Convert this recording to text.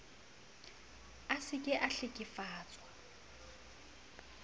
a se ke a hlekefetsa